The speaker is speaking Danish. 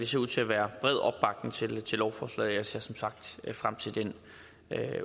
ser ud til at være bred opbakning til lovforslaget ser som sagt frem til den